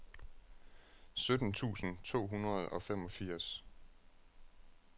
sytten tusind to hundrede og femogfirs